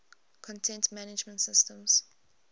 content management systems